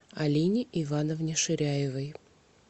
алине ивановне ширяевой